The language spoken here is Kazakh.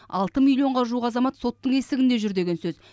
алты миллионға жуық азамат соттың есігінде жүр деген сөз